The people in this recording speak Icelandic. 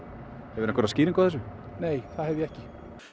hefurðu einhverja skýringu á þessu nei það hef ég ekki